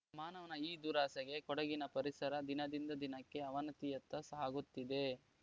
ಮಾನವನ ಈ ದುರಾಸೆಗೆ ಕೊಡಗಿನ ಪರಿಸರ ದಿನದಿಂದ ದಿನಕ್ಕೆ ಅವನತಿಯತ್ತ ಸಾಗುತ್ತಿದೆ